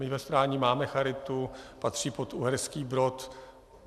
My ve Strání máme charitu, patří pod Uherský Brod.